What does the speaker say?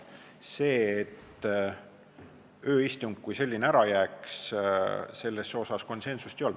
Selles, et ööistung kui selline ära jääks, konsensust ei olnud.